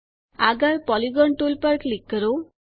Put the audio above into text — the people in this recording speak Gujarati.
આગળ પોલિગોન ટુલ પર ક્લિક કરો